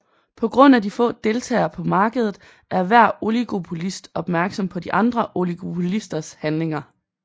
På grund af de få deltagere på markedet er hver oligopolist opmærksom på de andre oligopolisters handlinger